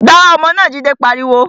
Gbá ọmọ náà! Jide pariwo